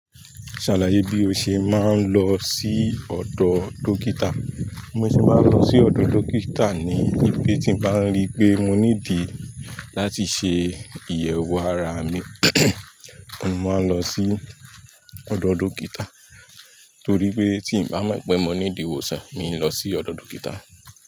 Ṣàlàyé bí o ṣe máa ń lọ sí ọ̀dọ̀ dókítà. Mo ṣe máa ń lọ sí ọ̀dọ̀ dókítà nígbà tí mo bá rí pé mo ní ìdí láti ṣe ìyẹ̀wò ara mi, mo máa ń lọ sí ọ̀dọ̀ dókítà torí pé tí n bá mọ̀ pé mo ní ìdí ìwòsàn, mi n lọ sí ọ̀dọ̀ dókítà.